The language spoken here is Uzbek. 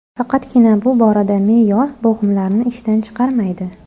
Faqatgina bu borada me’yor bo‘g‘imlarni ishdan chiqarmaydi.